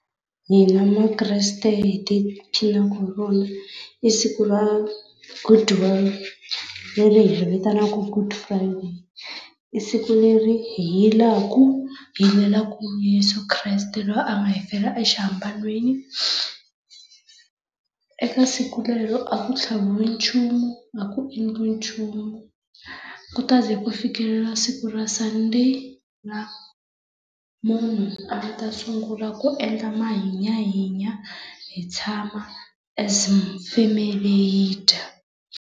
Hina makreste hi ti phinaka hi rona i siku ra leri hi i vitanaka good friday. I siku leri hi yilaka hi Yeso Kreste loyi a nga hi fela exihambanweni. Eka siku rero a ku tlhaviwi nchumu, a ku endliwi nchumu, ku ta ze ku fikelela siku ra Sunday laha munhu a nga ta sungula ku endla mahinyahinya hi tshama as familu hi dya.